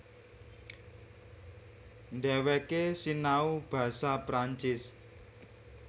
Dhèwèké sinau basa Perancis